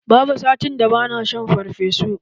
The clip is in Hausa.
Babu satin da ba na shan farfesu.